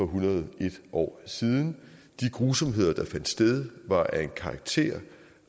hundrede og en år siden de grusomheder der fandt sted var af en karakter